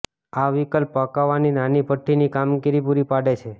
આ વિકલ્પ પકાવવાની નાની ભઠ્ઠી ની કામગીરી પુરી પાડે છે